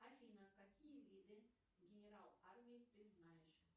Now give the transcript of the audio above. афина какие виды генерал армии ты знаешь